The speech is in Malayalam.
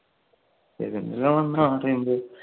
പെരുന്തൽമണ്ണ പറയുമ്പോ